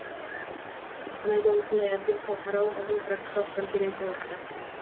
қостанайда осындай атпен халықаралық ғылыми практикалық конференция өтті